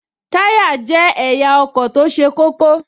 Táyá jẹ́ ẹ̀yà ọkọ̀ tó ṣe kókó